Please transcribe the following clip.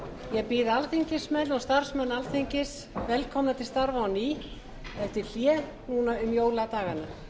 ég býð alþingismenn og starfsmenn alþingis velkomna til starfa á ný eftir hlé um jóladagana